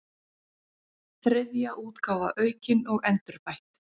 Þriðja útgáfa aukin og endurbætt.